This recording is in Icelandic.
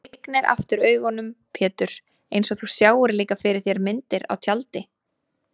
Þú lygnir aftur augunum Pétur einsog þú sjáir líka fyrir þér myndir á tjaldi.